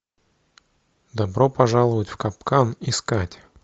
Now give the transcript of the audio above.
добро пожаловать в капкан искать